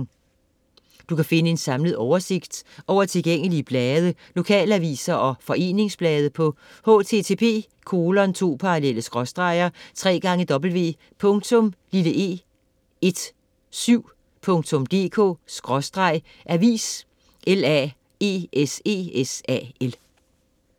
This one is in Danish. Du kan finde en samlet oversigt over tilgængelige blade, lokalaviser og foreningsblade på http://www.e17.dk/avislaesesal